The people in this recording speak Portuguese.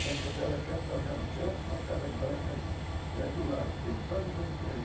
Perto da câmera tem uma casa de canto e uma casa branca ali do lado, bem quase de frente do correio.